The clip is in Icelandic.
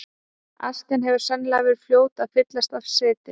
Askjan hefur sennilega verið fljót að fyllast af seti.